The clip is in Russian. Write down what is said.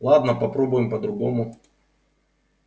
ладно попробуем по-другому